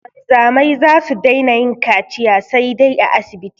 Wanzamai za su daina yin kaciya saidai a asibiti